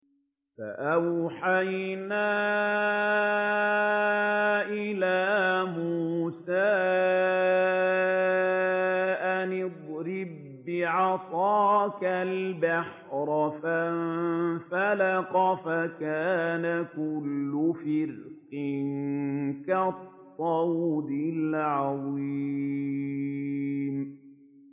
فَأَوْحَيْنَا إِلَىٰ مُوسَىٰ أَنِ اضْرِب بِّعَصَاكَ الْبَحْرَ ۖ فَانفَلَقَ فَكَانَ كُلُّ فِرْقٍ كَالطَّوْدِ الْعَظِيمِ